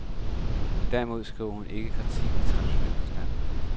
Derimod skriver hun ikke kritik i traditionel forstand.